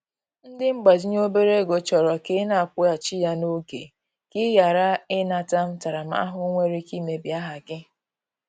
Ndị mgbazinye obere ego chọrọ ka ị na-akwụghachi ya n'oge, ka ị ghara ị nata ntaramahụhụ nwere ike imebi aha gị